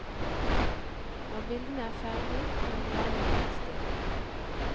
Når bildene er ferdige kan du lage en utstilling.